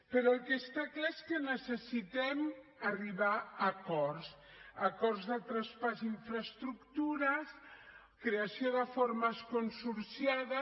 però el que està clar és que necessitem arribar a acords acords de traspàs d’infraestructures creació de formes consorciades